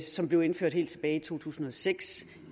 som blev indført helt tilbage i to tusind og seks